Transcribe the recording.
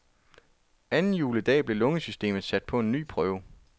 Anden juledag blev lungesystemet sat på en ny prøve.